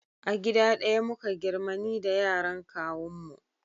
A gida ɗaya muka girma ni da yaran kawun mu